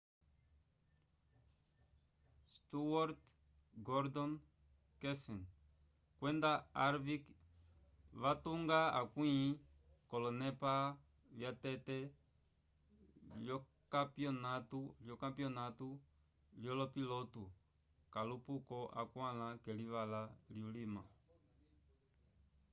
stewart gordon kenseth kwenda harvick vatunga akwĩ k'olonepa vyatete lyokampyonatu lyolopiloto kalupoko akwãla k'elivala lyulima